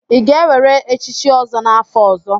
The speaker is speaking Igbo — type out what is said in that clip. Ị ga-ewere echichi ọzọ n'afọ ọzọ?